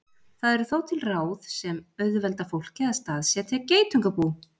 Það eru þó til ráð sem auðvelda fólki að staðsetja geitungabú.